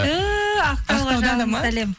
ту ақтауға жалынды сәлем